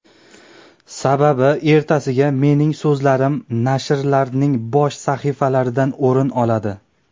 Sababi ertasiga mening so‘zlarim nashrlarning bosh sahifalaridan o‘rin oladi.